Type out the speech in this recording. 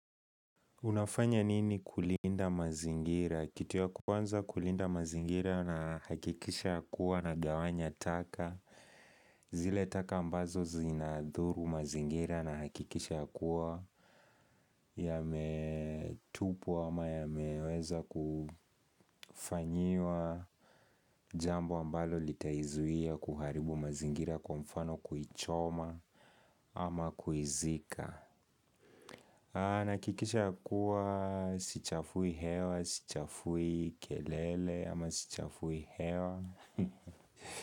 Unafanya nini kulinda mazingira? Kitu ya kwanza kulinda mazingira nahakikisha ya kuwa nagawanya taka. Zile taka ambazo zinadhuru mazingira nahakikisha ya kuwa. Yametupwa ama yameweza kufanyiwa jambo ambalo litaizuia kuharibu mazingira kwa mfano kuichoma ama kuizika. Nina hakikisha kuwa sichafui hewa, sichafui kelele ama sichafui hewa.